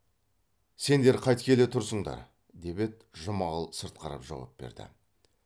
сендер қайткелі тұрсыңдар деп еді жұмағұл сырт қарап жауап берді